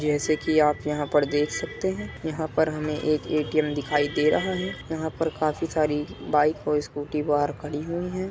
जैसे कि आप यहाँ पर देख सकते है यहाँ पर हमे एक ए.टी.एम. दिखाई रहा है यहाँ पर काफी सारी बाइक और स्कूटी बाहर खड़ी हुई है।